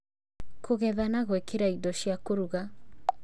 Kũgetha na gwĩkĩra indo cia kũruga